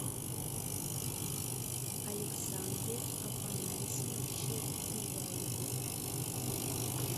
александре афанасьевиче беляеве